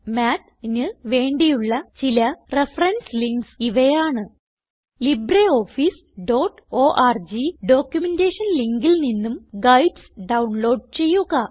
Mathന് വേണ്ടിയുള്ള ചില reference links ഇവയാണ് libreofficeഓർഗ് ഡോക്യുമെന്റേഷൻ ലിങ്കിൽ നിന്നും ഗൈഡ്സ് ഡൌൺലോഡ് ചെയ്യുക